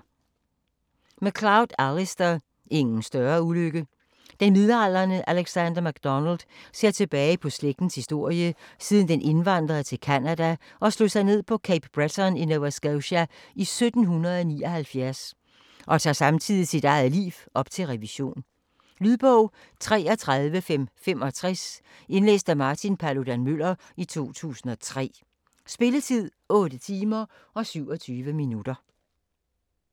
MacLeod, Alistair: Ingen større ulykke Den midaldrende Alexander MacDonald ser tilbage på slægtens historie, siden den indvandrede til Canada og slog sig ned på Cape Breton i Nova Scotia i 1779, og tager samtidig sit eget liv op til revision. Lydbog 33565 Indlæst af Martin Paludan-Müller, 2003. Spilletid: 8 timer, 27 minutter.